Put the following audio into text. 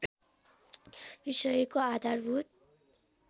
विषयको आधारभूत